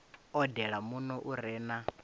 odele muno u re na